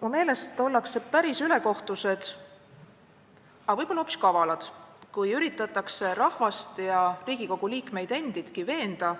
Mu meelest ollakse päris ülekohtused, aga võib-olla hoopis kavalad, kui üritatakse rahvast ja parlamendiliikmeid endidki veenda,